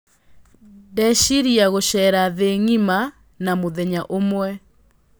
ndĩrecĩrĩa gũcera thĩ ngĩma na mũthenya ũmwe